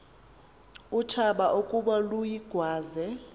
utshaba ukuba luyigwaze